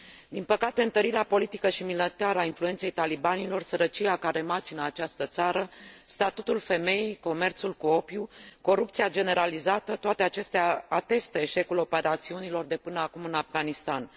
Din păcate, întărirea politică și militară a influenței talibanilor, sărăcia care macină această țară, statutul femeii, comerțul cu opiu, corupția generalizată, toate acestea atestă eșecul operațiunilor de până acum în Afghanistan.